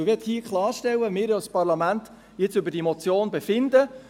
Man möchte hier klarstellen, dass wir als Parlament jetzt über die Motion befinden.